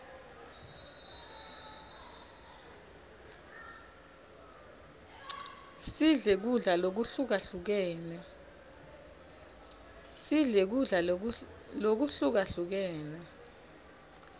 sidle kudla lokuhlukahlukene